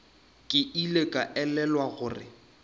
ke ile ka elelwa gore